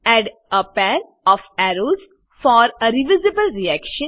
add a pair of arrows for a reversible reaction